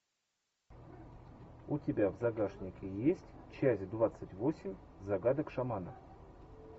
у тебя в загашнике есть часть двадцать восемь загадок шамана